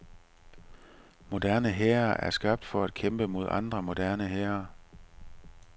Moderne hære er skabt for at kæmpe mod andre moderne hære.